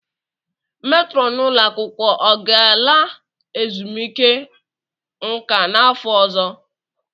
Metrọn ụlọ akwụkwọ ọ ga-ala ezumike nka n'afọ ọzọ?